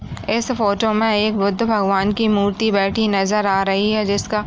S photo में एक बुद्ध भगवान की मूर्ति बैठी नजर आ रही है जिसका --